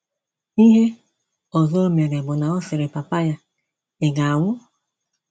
Ihè ọzọ o mere bụ na ọ̀ sịrị papa ya: “ Ị̀ ga - anwụ́? ”